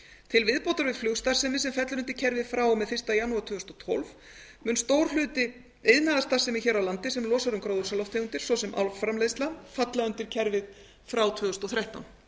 til viðbótar við flugstarfsemi sem fellur undir kerfið frá og með fyrsta janúar tvö þúsund og tólf mun stór hluti iðnaðarstarfsemi hér á landi sem losar um gróðurhúsalofttegundir svo sem álframleiðsla falla undir kerfið frá tvö þúsund og þrettán